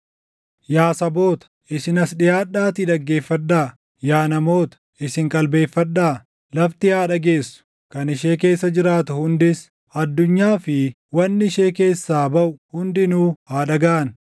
Yaa saboota, isin as dhiʼaadhaatii dhaggeeffadhaa; yaa namoota, isinis qalbeeffadhaa! Lafti haa dhageessu; kan ishee keessa jiraatu hundis, addunyaa fi wanni ishee keessaa baʼu hundinuu haa dhagaʼan!